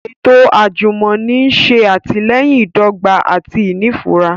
Eto ajumọni n ṣe atilẹyin idọgba ati inifura